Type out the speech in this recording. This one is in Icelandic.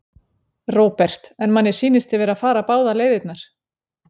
Róbert: En manni sýnist þið vera að fara báðar leiðirnar?